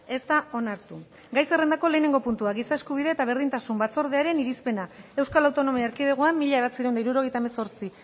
ez da onartu gai zerrendako lehenengo puntua giza eskubide eta berdintasun batzordearen irizpena euskal autonomia erkidegoan mila bederatziehun eta hirurogeita hemezortzi